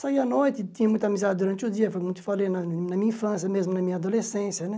Saia à noite, tinha muita amizade durante o dia, como te falei, na na minha infância mesmo, na minha adolescência, né?